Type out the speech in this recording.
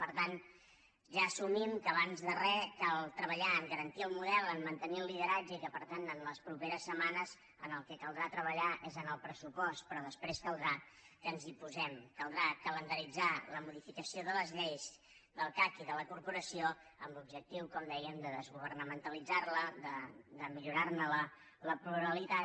per tant ja assumim que abans de re cal treballar a garantir el model a mantenir el lideratge i que per tant les properes setmanes en el que caldrà treballar és en el pressupost però després caldrà que ens hi posem caldrà calendaritzar la modificació de les lleis del cac i de la corporació amb l’objectiu com dèiem de desgovernamentalitzar la de millorar ne la pluralitat